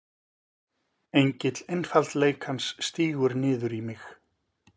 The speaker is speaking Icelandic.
Engill einfaldleikans stígur niður í mig.